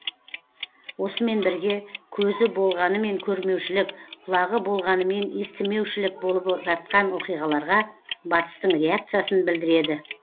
осымен бірге көзі болғанымен көрмеушілік құлағы болғанымен естімеушілік болып жатқан оқиғаларға батыстың реакциясын білдіреді